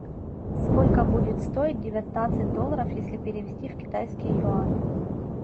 сколько будет стоить девятнадцать долларов если перевести в китайские юани